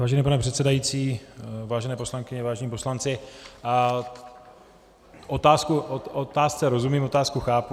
Vážený pane předsedající, vážené poslankyně, vážení poslanci, otázce rozumím, otázku chápu.